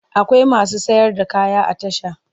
Akwai masu sayar da kaya a tasha.